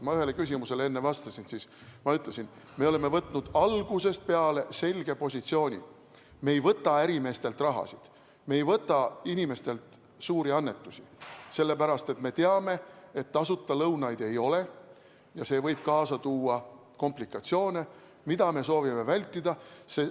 Ma ühele küsimusele enne vastasin, et me oleme võtnud algusest peale selge positsiooni: me ei võta ärimeestelt raha, me ei võta inimestelt suuri annetusi, sest me teame, et tasuta lõunaid ei ole, ja see võib kaasa tuua komplikatsioone, mida me soovime vältida.